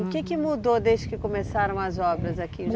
O que que mudou desde que começaram as obras aqui?